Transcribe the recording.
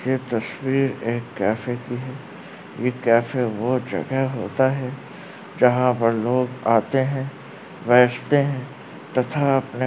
यह तस्वीर एक केफे की है ये केफे बहुत जगह होता है जहाँ पर लोग आते हैं बेठते हैं तथा --